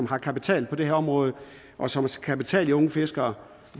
har kapital på det her område og som kan betale de unge fiskere